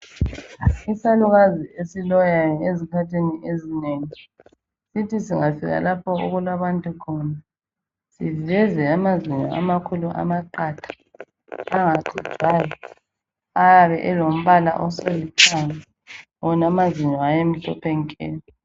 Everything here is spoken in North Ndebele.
Isalukazi esiloyayo ezikhathini esinengi sithi singafika lapho okulabantu khona siveze amazinyo amakhulu aqatha angaxujwayo ayabe selombala olithanga wona amazinyo ayemhlophe nke.